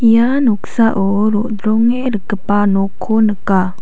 ia noksao ro·dronge rikgipa nokko nika.